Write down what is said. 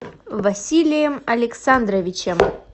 василием александровичем